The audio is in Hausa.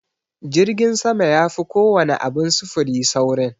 Jirgin sama yafi kowana abin sufuri saurin.